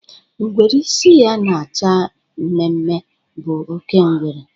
Ngwere isi ya na-acha mmemme bụ oke ngwere.